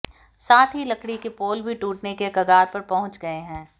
साथ ही लकड़ी के पोल भी टूटने के कगार पर पहंुच गए हैं